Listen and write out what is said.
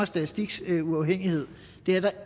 statistiks uafhængighed det er der